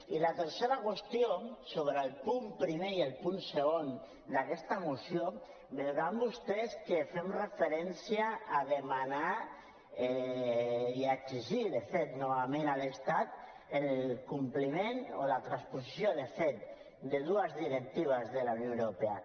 i la tercera qüestió sobre el punt primer i el punt segon d’aquesta moció deuen haver vist vostès que fem referència a demanar i a exigir de fet novament a l’estat el compliment o la transposició de dues directives de la unió europea